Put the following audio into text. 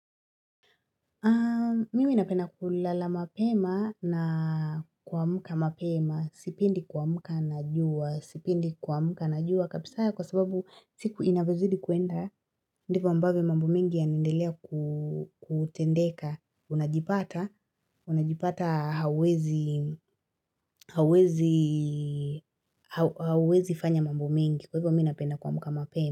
Mimi napenda kulala mapema na kuamuka mapema, sipendi kuamuka na jua, sipendi kuamuka na jua, kabisa ya kwa sababu siku inavyozidi kuenda, ndipo ambavyo mambo mingi ya naendelea kutendeka, unajipata, unajipata hauwezi hawezi hauwezi hauwezi fanya mambo mingi kwa hivyo mi napenda kuamuka mapema.